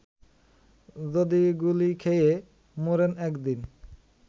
যদি গুলি খেয়ে মরেন একদিন